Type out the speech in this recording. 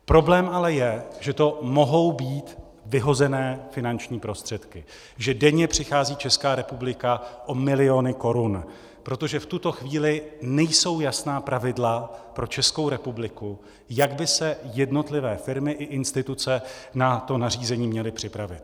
Problém ale je, že to mohou být vyhozené finanční prostředky, že denně přichází Česká republika o miliony korun, protože v tuto chvíli nejsou jasná pravidla pro Českou republiku, jak by se jednotlivé firmy i instituce na to nařízení měly připravit.